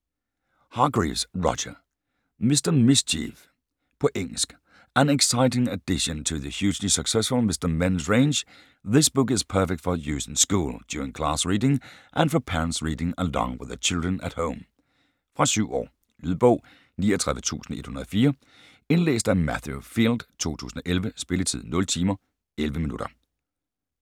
Hargreaves, Roger: Mr. Mischief På engelsk. An exciting addition to the hugely successful 'Mr Men' range, this book is perfect for use in school, during class reading and for parents reading along with their children at home. Fra 7 år. Lydbog 39104 Indlæst af Matthew Field, 2011. Spilletid: 0 timer, 11 minutter.